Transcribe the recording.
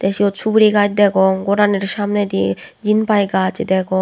the sut suguri gaj degong ghoranir samnedi Jin piy gaj degong.